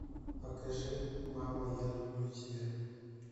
покажи мама я люблю тебя